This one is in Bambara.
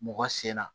Mɔgɔ sen na